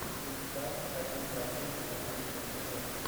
викстар один два три последняя серия